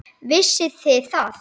Vissuð þið það?